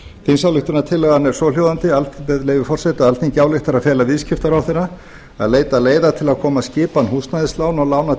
þingsályktunartillagan er svohljóðandi með leyfi forseta alþingi ályktar að fela viðskiptaráðherra að leita leiða til að koma skipan húsnæðislána og lána